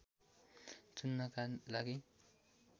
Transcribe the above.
चुन्नका लागि